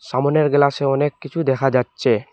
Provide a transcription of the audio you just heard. সামোনের গ্লাসে অনেক কিছু দেখা যাচ্ছে।